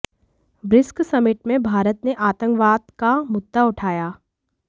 BRICS summit में भारत ने आतंकवाद का मुद्दा उठाया